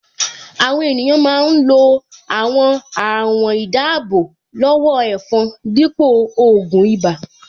Àwọn ènìyàn máa ń lo àwọn àwọ̀n-ìdáábò-lọ́wọ́-ẹ̀fọn dípò ògùn ibà